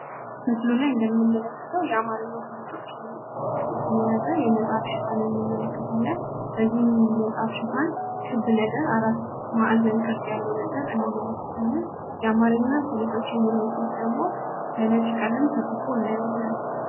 ምስሉ ላይ እንደምንመለከተው የአማርኛ ፈሊጦች የሚል ጽሑፍን የያዘ የመጽሐፍ ሽፋን እንመለከታለን። በዚህም መጽሐፍ ሽፋን ክብ ነገር፤ አራት ማዕዘን ቅርጽ ያለው ነገር እንመለከታለን። የአማርኛ ፈሊጦች የሚለው ጽሑፍ ደግሞ በነጭ ቀለም ተጽፎ እናየዋለን።